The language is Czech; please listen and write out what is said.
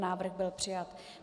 Návrh byl přijat.